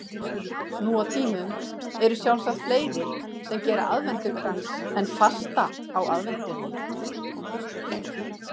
Nú á tímum eru sjálfsagt fleiri sem gera aðventukrans en fasta á aðventunni.